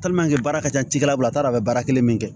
baara ka ca cikɛlaw bolo a t'a dɔn a bɛ baara kelen min kɛ